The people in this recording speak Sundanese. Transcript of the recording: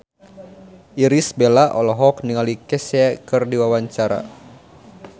Irish Bella olohok ningali Kesha keur diwawancara